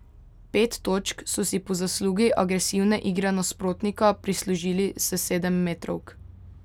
Pet točk so si po zaslugi agresivne igre nasprotnika prislužili s sedemmetrovk.